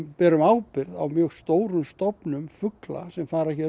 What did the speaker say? berum ábyrgð á mjög stórum stofnum fugla sem fara hér